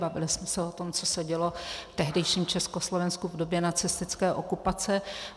Bavili jsme se o tom, co se dělo v tehdejším Československu v době nacistické okupace.